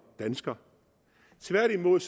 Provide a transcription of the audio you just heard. dansker tværtimod